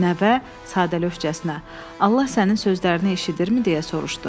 Nəvə sadəlövçəsinə: Allah sənin sözlərini eşidirmi deyə soruşdu.